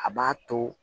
A b'a to